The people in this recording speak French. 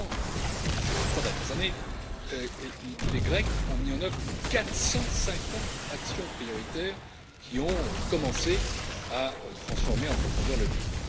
Au cours des trois seules dernières années, les Grecs ont mis en œuvre 450 actions prioritaires qui ont commencé à transformer en profondeur le pays.